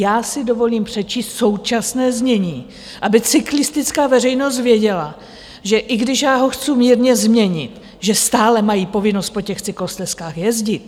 Já si dovolím přečíst současné znění, aby cyklistická veřejnost věděla, že i když já ho chci mírně změnit, že stále mají povinnost po těch cyklostezkách jezdit.